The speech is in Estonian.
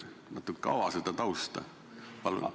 Palun ava natuke seda tausta!